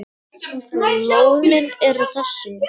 Lónin eru þessi